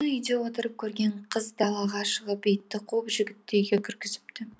мұны үйде отырып көрген қыз далаға шығып итті қуып жігітті үйге кіргізіпті